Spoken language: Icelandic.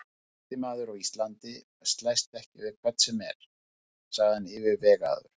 Sterkasti maður á Íslandi slæst ekki við hvern sem er, sagði hann yfirvegaður.